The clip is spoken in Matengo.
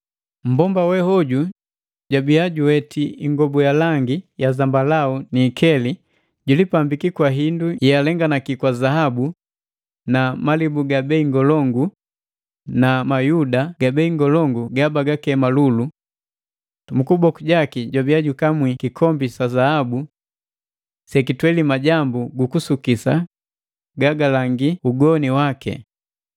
Mmbomba we hoju jabiya juweti ingobu ya langi ya zambalau ni ikeli, jilipambiki kwa indu yealenganaki kwa zaabu, malibu ga bei ngolongu na mayuda gabei ngolongu gabagakema lulu. Mu kuboku jaki jabiya jukamwi kikombi sa zahabu sekitweli majambu gu kusukisa gagalangi ugoni waki.